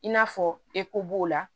I n'a fɔ eko b'o la